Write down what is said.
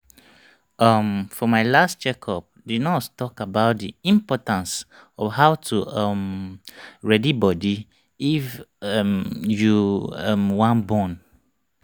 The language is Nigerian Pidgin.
uhm for my last check up the nurse talk about the importance of how to um ready body if um you um wan born